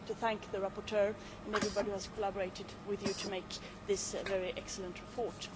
I would like to thank the rapporteur and everybody who has collaborated with her to make this a very excellent report.